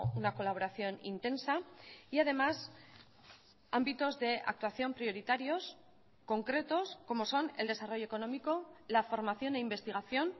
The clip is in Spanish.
una colaboración intensa y además ámbitos de actuación prioritarios concretos como son el desarrollo económico la formación e investigación